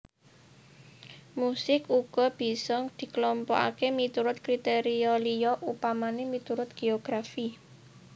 Musik uga bisa diklompokaké miturut kriteria liya upamané miturut geografi